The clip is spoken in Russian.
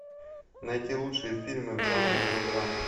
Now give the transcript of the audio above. найти лучшие фильмы в жанре мелодрама